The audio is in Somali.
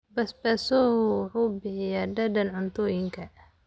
Basbaas hoho wuxuu bixiya dhadhan cuntooyinka.